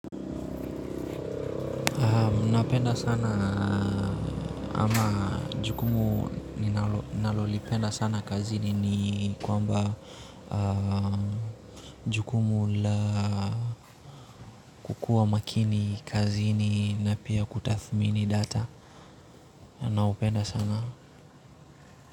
Napenda sana ama jukumu ninalolipenda sana kazini ni kwamba jukumu la kukuwa makini kazini na pia kutathmini data na hupenda sana.